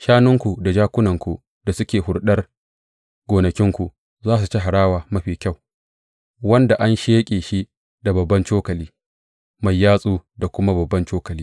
Shanunku da jakunanku da suke huɗar gonakinku za su ci harawa mafi kyau, wanda an sheƙe shi da babban cokali mai yatsu da kuma babban cokali.